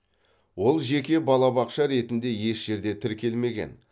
ол жеке балабақша ретінде еш жерде тіркелмеген